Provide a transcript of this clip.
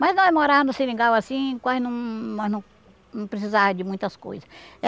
Mas nós morava no seringal assim quase não nós não não precisava de muitas coisas.